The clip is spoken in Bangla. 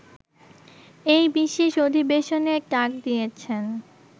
এই বিশেষ অধিবেশনের ডাক দিয়েছেন